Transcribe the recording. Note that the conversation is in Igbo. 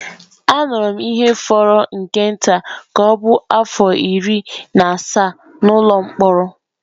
Anọrọ m ihe fọrọ nke nta ka ọ bụrụ afọ iri na asaa n’ụlọ mkpọrọ.